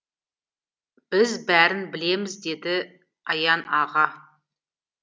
біз бәрін білеміз деді аян аға